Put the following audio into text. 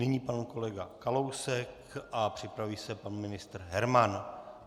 Nyní pan kolega Kalousek a připraví se pan ministr Herman.